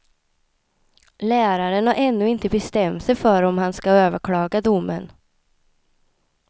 Läraren har ännu inte bestämt sig för om han skall överklaga domen.